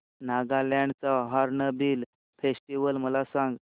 नागालँड चा hornbill festival मला सांग